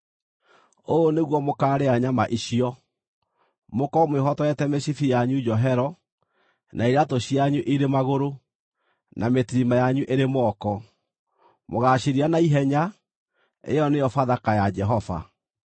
Ũũ nĩguo mũkaarĩa nyama icio: mũkorwo mwĩhotorete mĩcibi yanyu njohero, na iraatũ cianyu irĩ magũrũ, na mĩtirima yanyu ĩrĩ moko. Mũgaacirĩa naihenya; ĩyo nĩyo Bathaka ya Jehova.